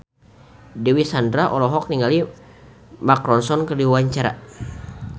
Dewi Sandra olohok ningali Mark Ronson keur diwawancara